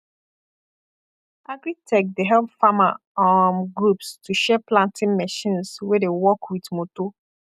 agritech dey help farmer um groups to share planting machines wey dey work with motor